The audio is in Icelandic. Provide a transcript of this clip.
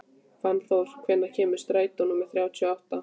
Fannþór, hvenær kemur strætó númer þrjátíu og átta?